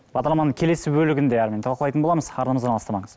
бағдарламаның келесі бөлігінде әңгімені талқылайтын боламыз арнамыздан алыстамаңыз